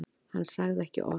Hann sagði ekki orð.